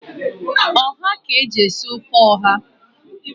Ọha ka eji esi ofe ọha.